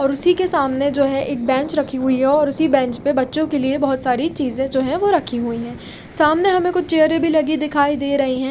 और उसी के सामने जो है एक बेंच रखी हुई है और उसी बेंच पर बच्चों के लिए बहुत सारी चीजें जो है वो रखी हुई है सामने हमें कुछ चेहरे भी लगे दिखाई दे रही है।